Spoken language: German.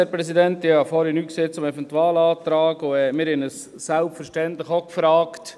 Ich habe vorhin nichts zum Eventualantrag gesagt, und wir haben uns selbstverständlich auch gefragt: